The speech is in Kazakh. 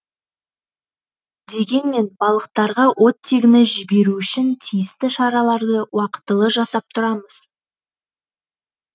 дегенмен балықтарға оттегіні жіберу үшін тиісті шараларды уақытылы жасап тұрамыз